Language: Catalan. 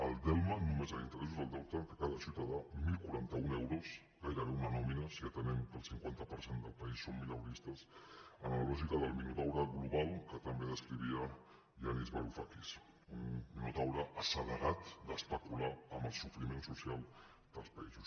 el delme només en interessos del deute de cada ciutadà deu quaranta u euros gairebé una nòmina si atenem que el cinquanta per cent del país som mileuristes en la lògica del minotaure global que tan bé descrivia yanis varoufakis un minotaure assedegat d’especular amb el sofriment social dels països